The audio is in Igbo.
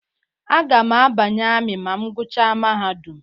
Agam a banye ami ma m guchaa mahadum.